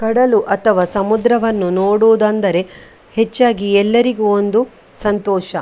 ಕಡಲು ಅಥವಾ ಸಮುದ್ರವನ್ನು ನೋಡುವುದಂದರೆ ಹೆಚ್ಚಾಗಿ ಎಲ್ಲರಿಗೂ ಒಂದು ಸಂತೋಷ .